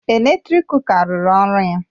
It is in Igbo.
Eletrik kuka ruru ọrụ ya